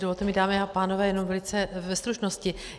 Dovolte mi, dámy a pánové, jenom velice ve stručnosti.